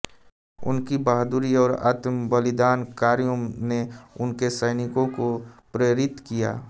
उनकी बहादुरी और आत्मबलिदान कार्यों ने उनके सैनिकों को प्रेरित किया